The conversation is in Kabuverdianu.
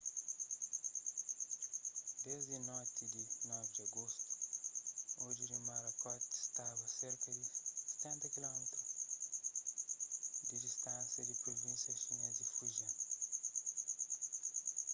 desdi noti di 9 di agostu odju di morakot staba serka di stenta kilómitru di distánsia di pruvínsia xinês di fujian